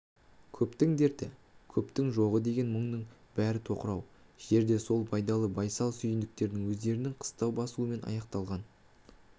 көптің дерті көптің жоғы деген мұңның бәрі тоқырау жерде сол байдалы байсал сүйіндіктердің өздерінің қыстау басуымен аяқталған